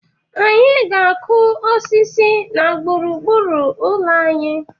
Anyị ga-akụ osisi na gburu gburu ụlọ anyị.